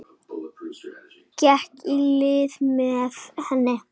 Gekk í lið með henni.